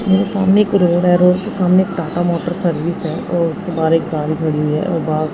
मेरे सामने एक रोड है रोड के सामने एक टाटा मोटर सर्विस है और उसके बाहर एक कार खड़ी है और उसके बाहर--